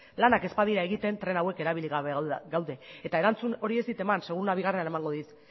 lanak ez badira egiten tren hauek erabili gabe gaude eta erantzun hori ez dit eman seguruena bigarrenean emango dit